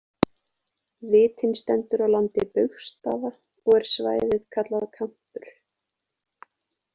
Vitinn stendur á landi Baugsstaða og er svæðið kallað kampur.